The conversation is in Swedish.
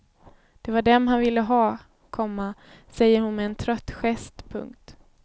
Det var dem han ville ha, komma säger hon med en trött gest. punkt